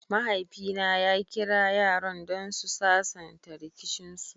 mahaifi na ya Kira yaran don su sasanta rikicin su.